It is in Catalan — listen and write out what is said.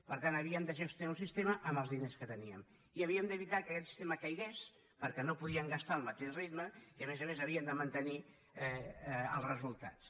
per tant havíem de gestionar un sistema amb els diners que teníem i havíem d’evitar que aquest sistema caigués perquè no podíem gastar al mateix ritme i a més a més havíem de mantenir els resultats